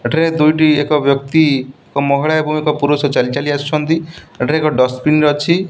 ଏଠାରେ ଦୁଇଟି ଏକ ବ୍ୟକ୍ତି ଏକ ମହିଳା ଏବଂ ଏକ ପୁରୁଷ ଚାଲି ଚାଲି ଆସୁଛନ୍ତି। ଏଠାରେ ଏକ ଡଷ୍ଟବିନ୍ ଅଛି।